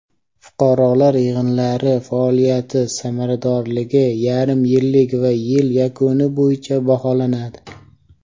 fuqarolar yig‘inlari faoliyati samaradorligi yarim yillik va yil yakuni bo‘yicha baholanadi.